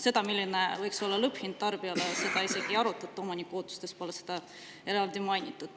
Seda, milline võiks olla lõpphind tarbijale, isegi ei arutata, omaniku ootustes pole seda eraldi mainitud.